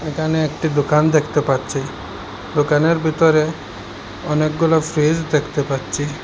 এখানে একটি দোকান দেখতে পাচ্ছি দোকানের ভিতরে অনেকগুলো ফ্রিজ দেখতে পাচ্ছি।